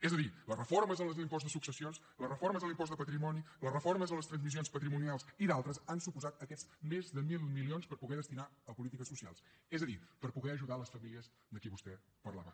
és a dir les reformes en l’impost de successions les reformes en l’impost de patrimoni les reformes en les transmissions patrimonials i d’altres han suposat aquests més de mil milions per poder destinar a polítiques socials és a dir per poder ajudar les famílies de qui vostè parlava